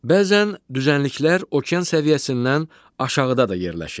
Bəzən düzənliklər okean səviyyəsindən aşağıda da yerləşir.